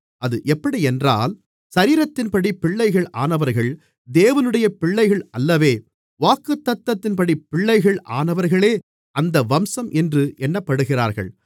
அது எப்படியென்றால் சரீரத்தின்படி பிள்ளைகள் ஆனவர்கள் தேவனுடைய பிள்ளைகள் அல்லவே வாக்குத்தத்தத்தின்படி பிள்ளைகள் ஆனவர்களே அந்த வம்சம் என்று எண்ணப்படுகிறார்கள்